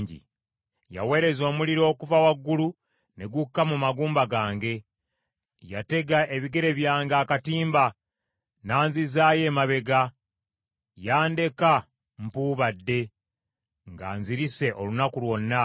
“Yaweereza omuliro okuva waggulu, ne gukka mu magumba gange. Yatega ebigere byange akatimba, n’anzizaayo emabega. Yandeka mpuubadde, nga nzirise olunaku lwonna.